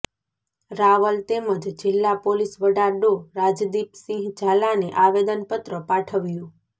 રાવલ તેમજ જિલ્લા પોલીસ વડા ડો રાજદીપસિંહ ઝાલાને આવેદનપત્ર પાઠવ્યું